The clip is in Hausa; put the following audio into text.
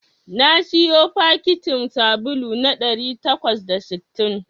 Na siyo fakitin sabulu na ɗari takwas da sittin